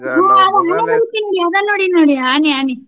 ಅದ ನೋಡೀನ್ ನೋಡಿ ಆನಿ ಆನಿ .